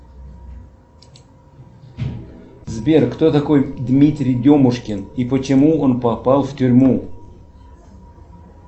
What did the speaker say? сбер кто такой дмитрий демушкин и почему он попал в тюрьму